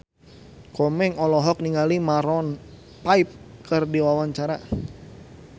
Komeng olohok ningali Maroon 5 keur diwawancara